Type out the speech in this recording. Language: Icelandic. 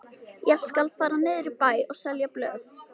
Ég skal fara niður í bæ og selja blöð.